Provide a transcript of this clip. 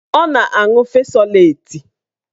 Ọ na-aṅụ fesoleti